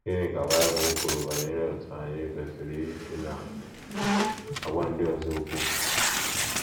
Gịnị ka Bible kwuru banyere otú anyị kwesịrị isi na - agwa ndị ọzọ okwu?